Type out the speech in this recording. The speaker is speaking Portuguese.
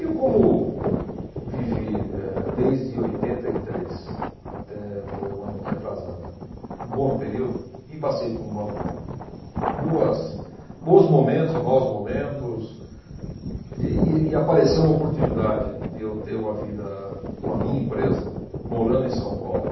Eu como vivi, eh, desde oitenta e três, até foi o ano retrasado, um bom período, e passei por mau, por boas, bons momentos e maus momentos, e, e apareceu uma oportunidade de eu ter uma vida com a minha empresa, morando em São Paulo.